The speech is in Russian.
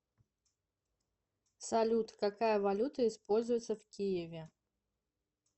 салют какая валюта используется в киеве